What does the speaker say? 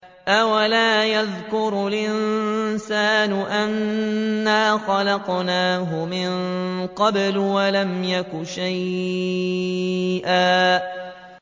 أَوَلَا يَذْكُرُ الْإِنسَانُ أَنَّا خَلَقْنَاهُ مِن قَبْلُ وَلَمْ يَكُ شَيْئًا